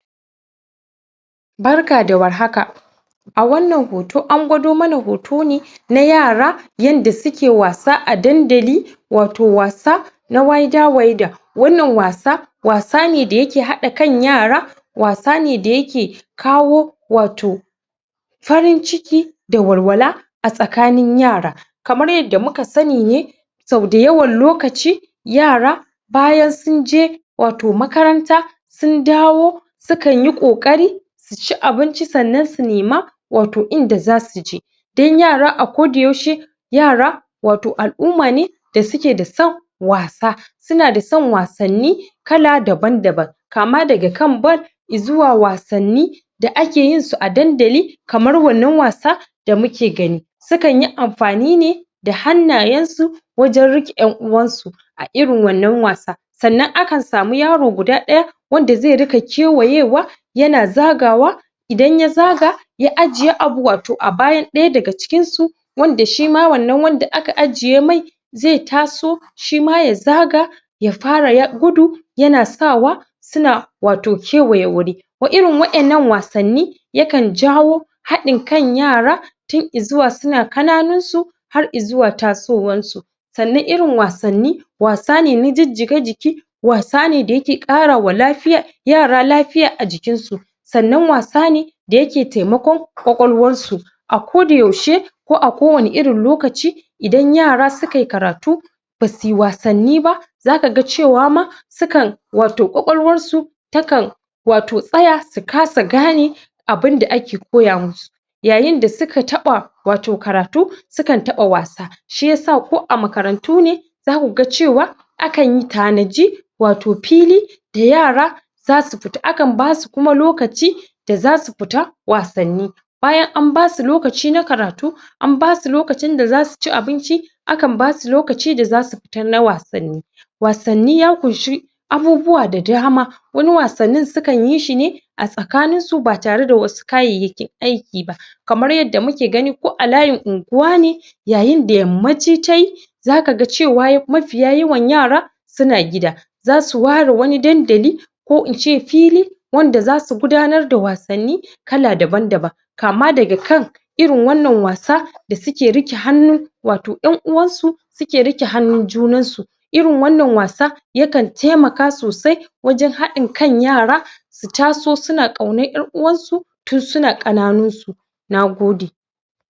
Barka da warhaka a wannan hoto, an gwado mana hoto ne na yara, yadda suke wasa a dandali wato wasa na Waida-waida wannan wasa wasa ne da yake haɗa kan yara wasa ne da yake kawo wato farin ciki da walwala a tsakain yara kamar yadda muka sani ne sau da yawan lokaci yara bayan sunje wato makaranta sun dawo sukan yi ƙoƙari su ci abinci sannan su nema wato inda zau je dan yara a koda yaushe yara wato al'umma ne da suke da son wasa suna da san wasanni kala daban daban kama daga kan Bal izuwa wasanni da ake yin su a dandali kamar wannan wasa da muke gani sukan yi amfani ne da hannayen su wajan kiƙe yan uwan su a irin wannan wasa sannan akan sami yaro guda ɗaya wanda zai riƙa kewaye wa yana zaga wa idan ya zaga a ajiye abu wato a bayan ɗaya daga cikin su wanda shima wannan wanda aka ajiye mai zai taso shima ya zaga ya fara ya gudu yana sawa suna wato kewaye wuri irin wa'yan nan wasanni yakan jawo haɗin kan yara tun izuwa suna ƙananun su har izuwa tasowar su sannan irin wasanni wasa ne an jijjiga jiki wasa ne da yake ƙarawa lafiyar, yara lafiya a jikin sa sannan wasa ne da yake taimakon kwakwalwar su a koda yaushe ko a kowanne lokaci idan yara sukai karatu basuyi wasanni ba zaka ga cewa ma sukan wato kwakwalwar su takan wato tsaya, su kasa gane abinda ake koya musu yayin da suka taɓa wato karatu, sukan taɓa wasa, shiyasa ko a makarantu ne zaku ga cewa akan yi tanaji wato fili da yara zasu fita, akan basu kuma lokaci da zasu fita wasanni bayan an basu lokaci na karatu an basu lokacin da zasu ci abinci akan basu lokaci da zasu fita na wasanni wasanni ya ƙunshi abubuwa da dama wani wasannin sukan yi shi ne a tsakanin su ba tare da wasu kayayyakin aiki ba kamar yadda muke gani ko a layin unguwa ne yayin da yammaci tayi zaka ga cewa mafiya yawan yaran suna gida zasu ware wani dandali ko in ce fili wanda zasu gudannar da wasanni kla daban daban kama daga kan irin wannan wasa da suke riƙe hannu wato yan uwan su suke riƙe hannun junan su irin wannan wasa yakan tainaka sosai wajan haɗin kan yara su taso suna ƙaunan 'yan uwan su tun suna ƙananin su. Nagode.